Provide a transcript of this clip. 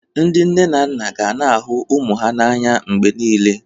Ndị nne na nna ga na-ahụ ụmụ ha n'anya mgbe niile